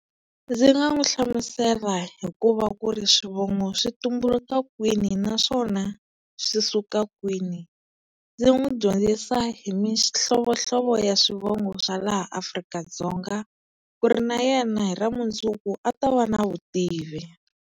Ndzi nga n'wi hlamusela hikuva ku ri swivongo swi tumbuluka kwini naswona swi suka kwini ndzi n'wi dyondzisa hi mihlovohlovo ya swivongo swa laha Afrika-Dzonga ku ri na yena hi ra mundzuku a ta va na vutivi.